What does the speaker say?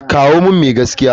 Kawo min mai gaskiya.